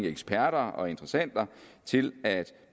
eksperter og interessenter til at